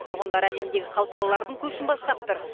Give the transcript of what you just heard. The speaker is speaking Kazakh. тұрғындары әлемдегі қалталылардың көшін бастап тұр